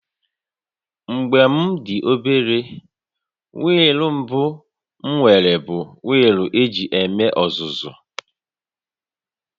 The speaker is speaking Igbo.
Mgbe m dị obere, wịịlụ mbụ m nwere bụ wịịlụ eji eme ọzụzụ